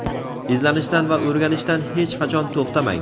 Izlanishdan va o‘rganishdan hech qachon to‘xtamang!.